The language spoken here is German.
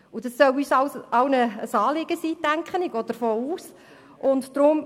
Dies soll uns allen ein Anliegen sein, davon gehe ich aus.